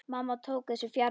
Mamma tók þessu fjarri.